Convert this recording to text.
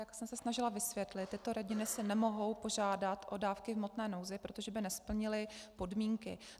Jak jsem se snažila vysvětlit, tyto rodiny si nemohou požádat o dávky v hmotné nouzi, protože by nesplnily podmínky.